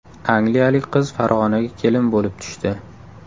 Angliyalik qiz Farg‘onaga kelin bo‘lib tushdi .